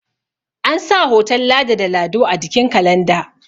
ansa hoton ladi da lado a jikin kalanda